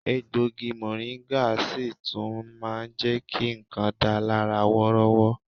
Egbògi mọ̀ríńgà sì tún máa jẹ ki nǹkan dà lára wọ́rọ́wọ́